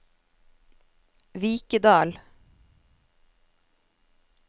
Vikedal